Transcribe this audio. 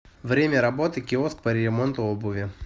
время работы киоск по ремонту обуви